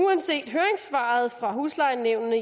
uanset høringssvaret fra huslejenævnene